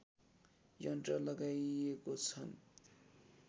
यन्त्र लगाइएको छन्